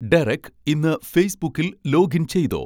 Derek ഇന്ന് ഫേസ്ബുക്കിൽ login ചെയ്തോ